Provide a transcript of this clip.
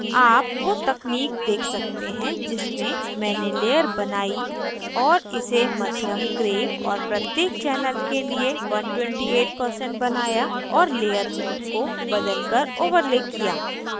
आप वो technique देख सकते हैं जिससे मैंने layer बनायी और इसे मध्यम gray और प्रत्येक channel के लिए 128% बनाया और layer mode को बदलकर overlay किया